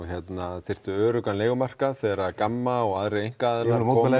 þyrftu öruggan leigumarkað þegar GAMMA og aðrir einkaaðilar